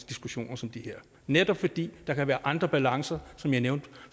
diskussioner som de her netop fordi der kan være andre balancer som jeg nævnte